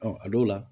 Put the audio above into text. a dɔw la